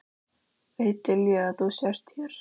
Veit Lilja að þú ert hér?